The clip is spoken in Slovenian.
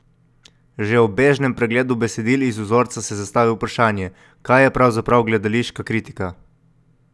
Že ob bežnem pregledu besedil iz vzorca se zastavi vprašanje, kaj je pravzaprav gledališka kritika?